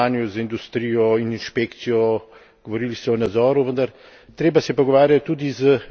In, gospod komisar, govorili ste o sodelovanju z industrijo in inšpekcijo, govorili ste o nadzoru.